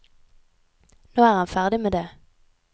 Nå er han ferdig med det.